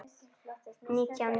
Nítján létust.